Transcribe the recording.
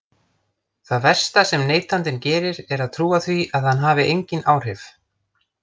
Það versta sem neytandinn gerir er að trúa því að hann hafi engin áhrif.